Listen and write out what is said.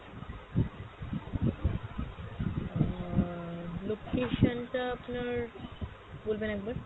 আহ location টা আপনার বলবেন একবার।